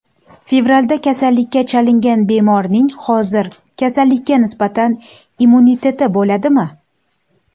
Fevralda kasallikka chalingan bemorning hozir kasallikka nisbatan immuniteti bo‘ladimi?